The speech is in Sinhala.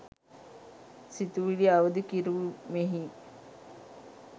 සිතුවිලි අවදි කෙරුමෙහි